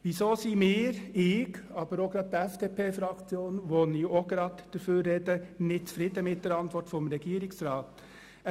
Weshalb sind wir – ich, aber auch die FDP-Fraktion, für die ich auch gleich spreche – mit der Antwort des Regierungsrats nicht zufrieden?